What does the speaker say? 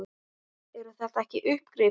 Eru þetta ekki uppgrip hér?